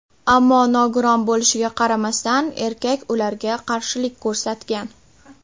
Ammo nogiron bo‘lishiga qaramasdan erkak ularga qarshilik ko‘rsatgan.